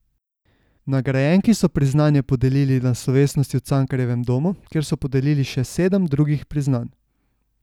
Nagrajenki so priznanje podelili na slovesnosti v Cankarjevem domu, kjer so podelili še sedem drugih priznanj.